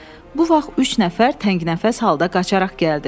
Bu vaxt üç nəfər təngnəfəs halda qaçaraq gəldi.